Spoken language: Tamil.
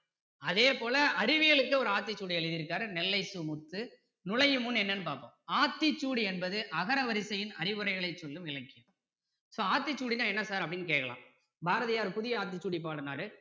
அதேப்போல அறிவியலுக்கு ஒரு ஆத்திச்சூடி எழுதி இருக்காரு நெல்லை சு முத்து நுழையும் முன் என்னனன்னு பார்ப்போம் ஆத்திச்சூடி என்பது அகர வரிசையின் அறிவுரைகளை சொல்லும் இலக்கியம் so ஆத்திச்சூடினா என்ன sir அப்படின்னு கேட்கலாம் பாரதியார் புதிய ஆத்திச்சூடி பாடினாரு